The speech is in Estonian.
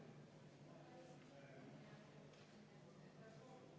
Ettepanek leidis toetust.